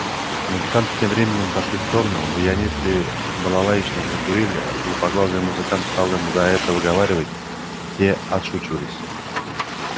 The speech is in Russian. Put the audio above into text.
музыканты тем временем отошли в сторону баянист и балалаечник закурили лупоглазый музыкант стал им за это выговаривать те отшучивались